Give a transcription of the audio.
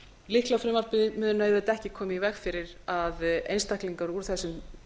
lyklafrumvarpið mun auðvitað ekki koma í veg fyrir að einstaklingar úr þessum